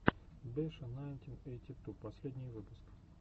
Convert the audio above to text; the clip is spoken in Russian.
беша найнтин эйти ту последний выпуск